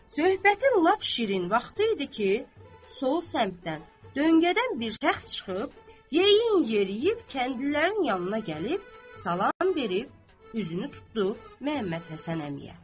Söhbətin lap şirin vaxtı idi ki, sol səmtdən, döngədən bir şəxs çıxıb, yeyin yeriyib kəndlilərin yanına gəlib salam verib, üzünü tutdu Məhəmməd Həsən əmiyə.